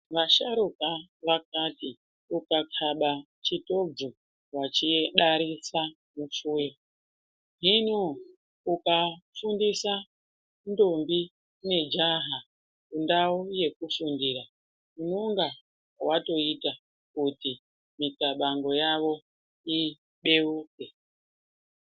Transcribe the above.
Vasharuka vakati ukakaba chitobvu wachidarisa mufuya hino ukafundiisa ndombi nejaha kundau yekufundira unonga watoita kuti mikabango yawo ibeuke.